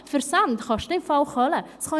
Versände kosten im Fall Kohle!